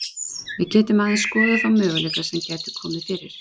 Við getum aðeins skoðað þá möguleika sem gætu komið fyrir.